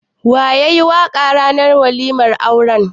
Wa yayi waƙa ranar waliman auran?